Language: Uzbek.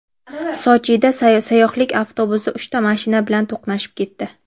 Sochida sayyohlik avtobusi uchta mashina bilan to‘qnashib ketdi.